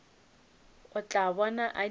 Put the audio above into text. o tla bona a dirile